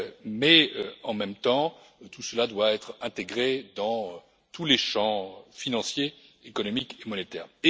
Mais, en même temps, tout cela doit être intégré dans tous les champs financier, économique et monétaire.